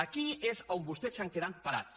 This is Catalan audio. aquí és on vostès s’han quedat parats